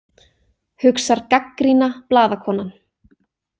Hugsar gagnrýna blaðakonan.